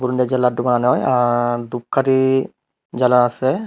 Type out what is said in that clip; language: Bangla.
যে লাড্ডু বানানো হয় আর দুপকাঠি জ্বালা আসে।